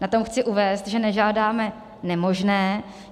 Na tom chci uvést, že nežádáme nemožné.